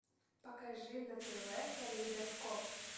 покажи на тв калейдоскоп